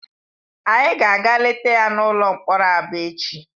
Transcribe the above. Anyị ga-aga leta ya n'ụlọ mkpọrọ Aba echi.